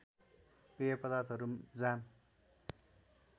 पेय पदार्थहरू जाम